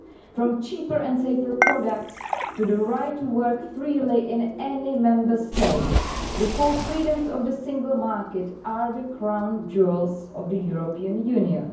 from cheaper and safer products to the right to work freely in any Member State, the four freedoms of the single market are the crown jewels of the European Union.